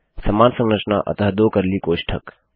समान संरचना अतः दो कर्ली कोष्ठक